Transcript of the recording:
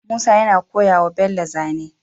Musa yana koya wa bello zane